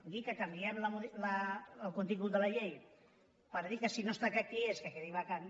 dir que canviem el contingut de la llei per dir que si no està clar qui és que quedi vacant